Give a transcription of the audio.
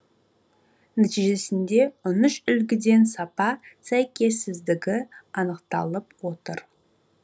нәтижесінде он үш үлгіден сапа сәйкессіздігі анықталып отыр